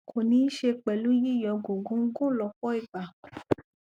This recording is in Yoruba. kò ní í ṣe pẹlú u yíyọ gògóńgò lọhpọ ìgbà